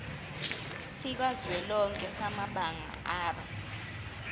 sikazwelonke samabanga r